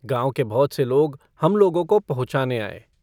गाँव के बहुत से लोग हम लोगों को पहुंँचाने आए।